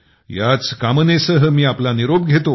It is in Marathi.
याच कामनेसह मी आपला निरोप घेतो